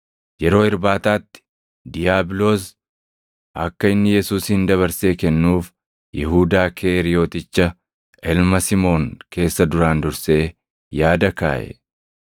Yeroo irbaataatti diiyaabiloos akka inni Yesuusin dabarsee kennuuf Yihuudaa Keeriyoticha ilma Simoon keessa duraan dursee yaada kaaʼe.